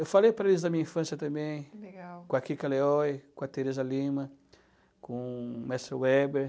Eu falei para eles da minha infância também, legal, com a Kika Leoi, com a Teresa Lima, com o Mestre Weber.